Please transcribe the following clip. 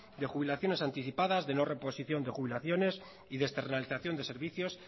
de jubilaciones anticipadas de no reposición de jubilaciones y de externalización de servicios